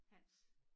Hans